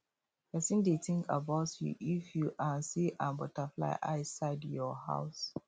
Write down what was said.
person dey think about you if you um see um butterfly i side your house